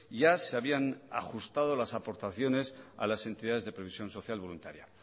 ya se habían ajustado las aportaciones a las entidades de previsión social voluntaria